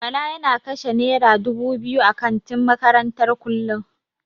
Bala yana kashe naira dubu biyu a kantin makarantar kullum.